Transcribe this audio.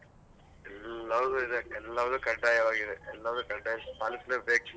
ಎಲ್ಲವೂ ಇದೆ ಎಲ್ಲವೂ ಕಡ್ಡಾಯವಾಗಿದೆ. ಎಲ್ಲವೂ ಕಡ್ಡಾಯವಾಗಿ ಪಾಲಿಸ್ಲೇಬೇಕ್.